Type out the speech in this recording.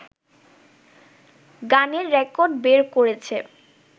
গানের রেকর্ড বের করেছে